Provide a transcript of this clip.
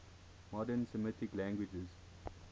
modern semitic languages